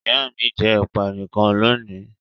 Ìyá mi jẹ ẹ̀pà nìkan lónìí.